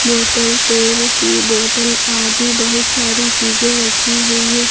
Bottle तेल की bottle आदि बहुत सारी चीजे रखी हुई है।